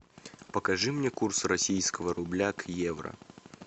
покажи мне курс российского рубля к евро